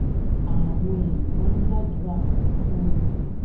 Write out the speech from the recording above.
àwọn èèyàn máa ń gbàdúrà fún fún un